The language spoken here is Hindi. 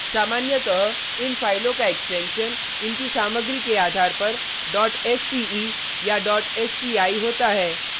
सामान्यतः इन फाइलों का एक्सटेंशन इनकी सामग्री के आधार पर sce या sci होता है